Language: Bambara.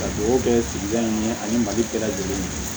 Ka dugawu kɛ sigida in ye ani mali bɛɛ lajɛlen ɲɛ